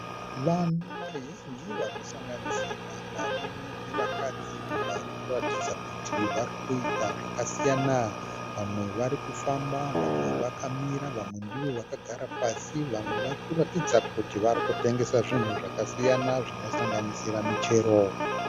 Vanhu vazhinji vanosanganisira varume nevakadzi Varikuratidza kuti varikuita zvakasiyana. Vamwe varikufamba vamwe vakamira vamwe ndivo vakagara pasi vamwe varikuratidza kuti varikutengesa zvinhu zvakasiyana zvinosanganisira michero.